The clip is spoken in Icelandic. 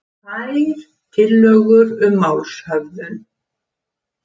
Tvær tillögur um málshöfðun